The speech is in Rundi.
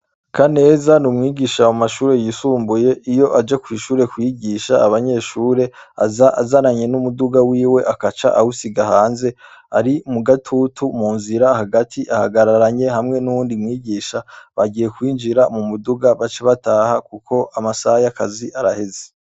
Ka neza n’umwigisha wa mashure yisumbuye iyo aje kw'ishure kwigisha abanyeshure aza azananye n'umuduga wiwe akaca awusiga hanze ari mu gatutu mu nzira hagati ahagararanye hamwe n'uwundi mwigisha bagiye kwinjira mu muduga baca bataha, kuko amasaha y’akazi araheze.